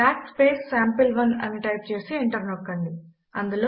cot సంపే1 అని type చేసి ఎంటర్ నొక్కండి